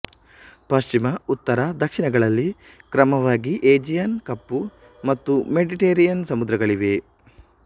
ಪಶ್ಚಿಮ ಉತ್ತರ ದಕ್ಷಿಣಗಳಲ್ಲಿ ಕ್ರಮವಾಗಿ ಏಜಿಯನ್ ಕಪ್ಪು ಮತ್ತು ಮೆಡಿಟರೇನಿಯನ್ ಸಮುದ್ರಗಳಿವೆ